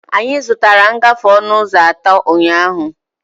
Anyị zụtara ngafe ọnụ ụzọ atọ ụnyahụ.